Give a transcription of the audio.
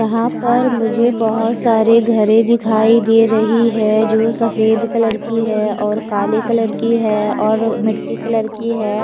यहा पर मुझे बहोत सारे घरे दिखाई दे रही है जो सफेद कलर की है और काले कलर की है और मिट्टी कलर की है।